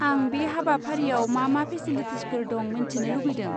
आं बे हाबाफारियाव मा मा फेसिलिटिसफोर दं मोन्थिनि लुगैदों।